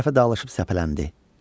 Hərə bir tərəfə dağılışıb səpələndi.